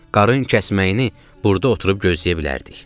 Qarın kəsməyini burda oturub gözləyə bilərdik.